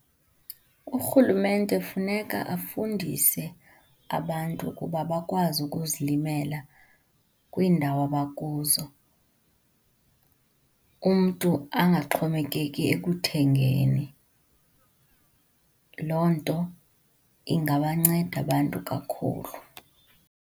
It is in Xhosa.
Urhulumente funeka afundise abantu ukuba bakwazi ukuzilimela kwiindawo abakuzo, umntu angaxhomekeki ekuthengeni. Loo nto ingabanceda abantu kakhulu.